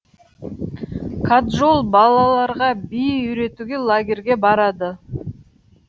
каджол балаларға би үйретуге лагерге барады